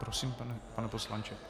Prosím, pane poslanče.